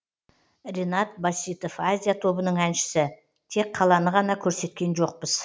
ренат баситов азия тобының әншісі тек қаланы ғана көрсеткен жоқпыз